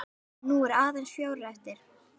Nú eru aðeins fjórir eftir.